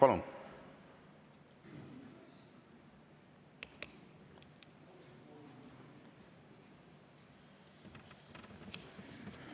Palun!